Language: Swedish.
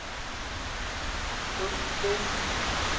sjuttio